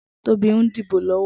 Tobi n dibó lọwọ